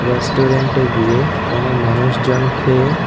রেস্টুরেন্টে গিয়ে কোন মানুষজন খেয়ে--